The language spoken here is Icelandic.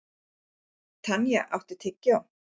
Tanya, áttu tyggjó?